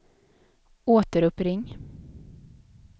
återuppring